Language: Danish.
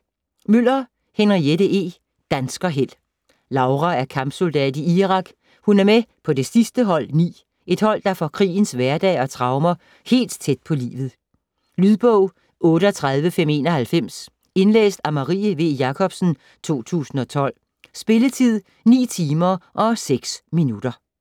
Møller, Henriette E.: Danskerheld Laura er kampsoldat i Irak, hun er med på det sidste hold 9, et hold der får krigens hverdag og traumer helt tæt på livet. Lydbog 38591 Indlæst af Marie V. Jakobsen, 2012. Spilletid: 9 timer, 6 minutter.